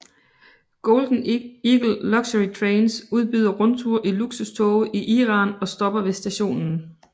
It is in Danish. Golden Eagle Luxury Trains udbyder rundture i luksustoge i Iran og stopper ved stationen